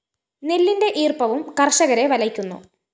നെല്ലിന്റെ ഈര്‍പ്പവും കര്‍ഷകരെ വലയ്ക്കുന്നു